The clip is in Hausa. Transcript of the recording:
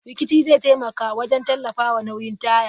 Rikici zai taimaka wajen tallafawa nauyin taya.